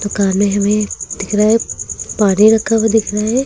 दुकान में हमें दिख रहा है पानी रखा हुआ दिख रहा है।